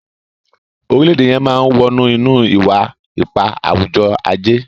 orilẹ-ede yén má wọnú ínú iwa-ipa awujọ-aje